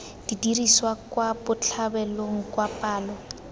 diriswa kwa botlhabelong kwa palo